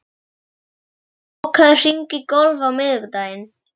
Fregn, bókaðu hring í golf á miðvikudaginn.